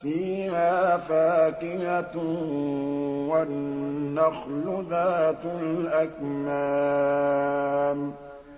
فِيهَا فَاكِهَةٌ وَالنَّخْلُ ذَاتُ الْأَكْمَامِ